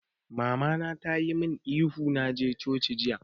Mama na ta yi mun ihu na je coci jiya!